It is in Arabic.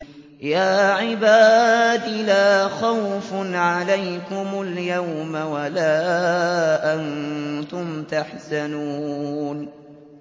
يَا عِبَادِ لَا خَوْفٌ عَلَيْكُمُ الْيَوْمَ وَلَا أَنتُمْ تَحْزَنُونَ